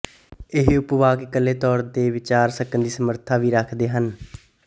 ਇਹ ਉਪਵਾਕ ਇਕੱਲੇ ਤੌਰ ਤੇ ਵਿਚਰ ਸਕਣ ਦੀ ਸਮਰੱਥਾ ਵੀ ਰੱਖਦੇ ਹਨ